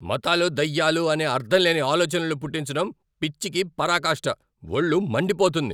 మతాలు దయ్యాలు అనే అర్ధంలేని ఆలోచనలు పుట్టించడం పిచ్చికి పరాకాష్ట! వొళ్ళు మండిపోతుంది.